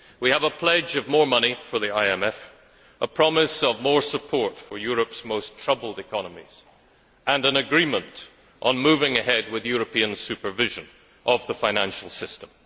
We have a pledge of more money from the IMF, a promise of more support for Europe's most troubled economies and an agreement on moving ahead with European supervision of the financial system.